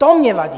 To mně vadí.